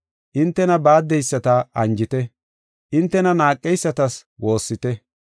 Hintena baaddeyisata anjite, hintena naaqeysatas woossite.